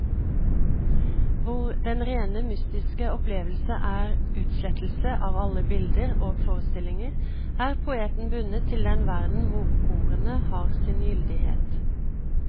Hvor den rene mystiske opplevelse er utslettelse av alle bilder og forestillinger, er poeten bundet til den verden hvor ordene har sin gyldighet.